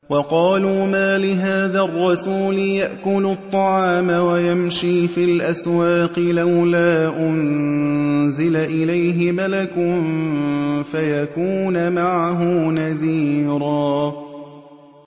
وَقَالُوا مَالِ هَٰذَا الرَّسُولِ يَأْكُلُ الطَّعَامَ وَيَمْشِي فِي الْأَسْوَاقِ ۙ لَوْلَا أُنزِلَ إِلَيْهِ مَلَكٌ فَيَكُونَ مَعَهُ نَذِيرًا